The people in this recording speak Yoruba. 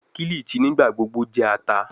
Kilichi nigbagbogbo jẹ ata